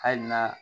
Hali n'a